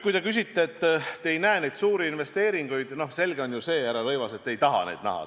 Kui te küsite selle kohta, et te ei näe neid suuri investeeringuid, siis selge on ju see, härra Rõivas, et te ei taha neid näha.